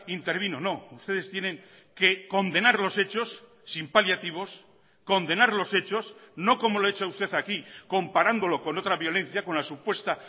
intervino no ustedes tienen que condenar los hechos sin paliativos condenar los hechos no como lo ha hecho usted aquí comparándolo con otra violencia con la supuesta